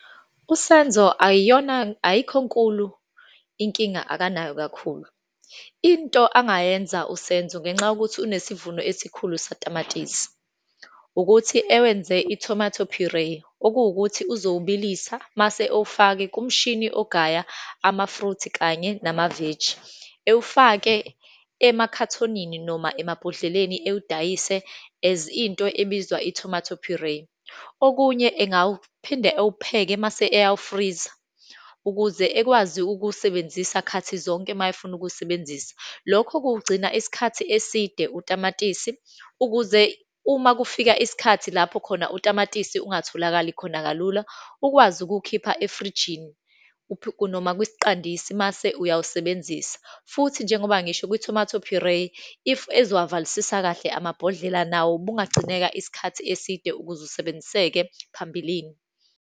USenzo ayiyona, ayikho nkulu inkinga akanayo kakhulu. Into angayenza uSenzo ngenxa yokuthi unesivuno esikhulu satamatisi, ukuthi ewenze i-tomato puree, okuwukuthi uzowubilisa, mase owufake kumshini ogaya amafruthi kanye namaveji. Ewufake emakhathonini noma emabhodleleni, ewudayise as into ebizwa i-tomato puree. Okunye, engawuphinde ewupheke mase eyawufriza ukuze ekwazi ukuwusebenzisa khathi zonke uma efuna ukuwusebenzisa. Lokho kuwugcina isikhathi eside utamatisi, ukuze uma kufika isikhathi lapho khona utamatisi ungatholakali khona kalula, ukwazi ukuwukhipha efrijini, noma kwisiqandisi mase uyawusebenzisa. Futhi njengoba ngisho kwi-tomato puree, if ezowavalisisa kahle amabhodlela nawo ubungagcineka isikhathi eside ukuze usebenziseke phambilini.